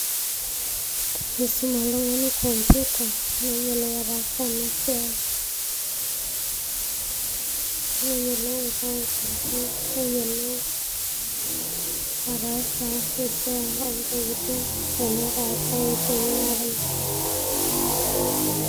Tenisum oltungani computer neyiolou ataasa ena siai, neyiolou ataasa repair tenetaasa engineering.